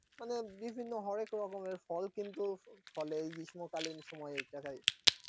বনে বিভিন্ন হরেক রকমের ফল কিন্তু ফলে এই গ্রীষ্ম কালীন সময় দেখায়